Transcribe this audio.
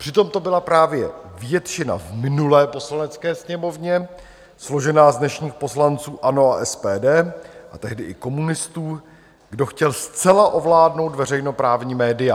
Přitom to byla právě většina v minulé Poslanecké sněmovně složená z dnešních poslanců ANO a SPD a tehdy i komunistů, kdo chtěl zcela ovládnout veřejnoprávní média.